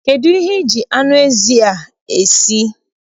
Kedụ ihe I ji anụ ezi a esi?